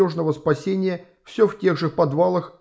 нужного спасения все в тех же в подвалах